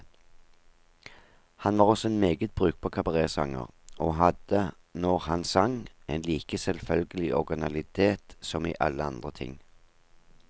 Han var også en meget brukbar kabaretsanger, og hadde, når han sang, en like selvfølgelig originalitet som i alle andre ting.